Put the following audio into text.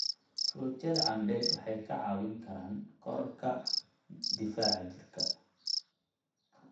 Fruityada cambe waxay ka caawin karaan korodhka difaaca jirka.